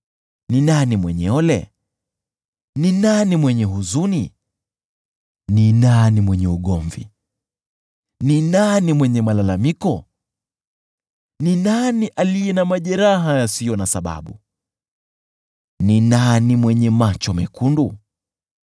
Ni nani mwenye ole? Ni nani mwenye huzuni? Ni nani mwenye ugomvi? Ni nani mwenye malalamiko? Ni nani aliye na majeraha yasiyo na sababu? Ni nani mwenye macho mekundu?